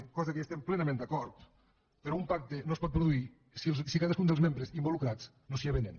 cosa que hi estem plenament d’acord però un pacte no es pot produir si cadascun dels membres involucrats no s’hi avenen